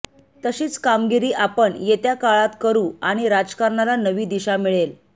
तशीच कामगिरी आपण येत्या काळात करू आणि राजकारणाला नवी दिशा मिळेल